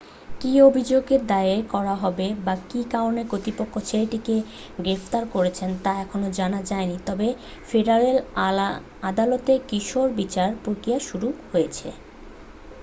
কী অভিযোগ দায়ের করা হবে বা কী কারণে কর্তৃপক্ষ ছেলেটিকে গ্রেফতার করেছে তা এখনও জানা যায়নি তবে ফেডারেল আদালতে কিশোর বিচার প্রক্রিয়া শুরু হয়েছে